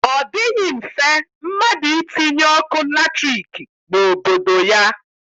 Ọ dịghị mfe mmadụ itinye ọkụ latriki n'obodo ya